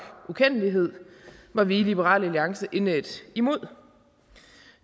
ukendelighed var vi i liberal alliance indædt imod